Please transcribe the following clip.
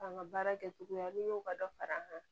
An ka baara kɛcogoya n'i y'o ka dɔ fara an kan